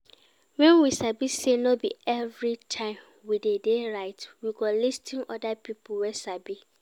When we sabi sey no be every time we de dey right we go lis ten to oda pipo wey sabi